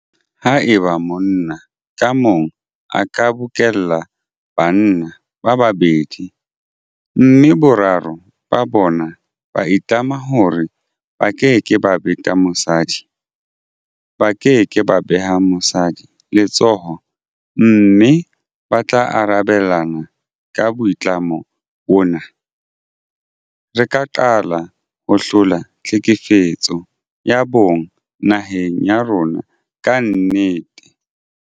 Haeba monna ka mong a ka bokella banna ba babedi mme boraro ba bona ba itlama hore ba keke ba beta mosadi, ba ke ke ba beha mosadi letsoho mme ba tla arabelana ka boitlamo bona, re ka qala ho hlola tlhekefetso ya bong naheng ya rona ka nnete.